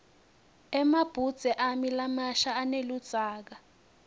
emabhudze ami lamasha aneludzaka